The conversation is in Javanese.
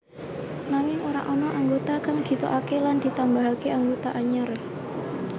Nanging ora ana anggota kang ditokaké lan ditambahké anggota anyar